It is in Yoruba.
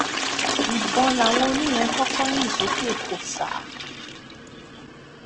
ìbọn làwọn oníyẹn kọkọ yín sókè kósà